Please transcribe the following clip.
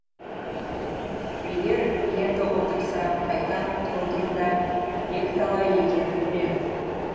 егер енді отырса қайта тұрудың да екіталай екенін біледі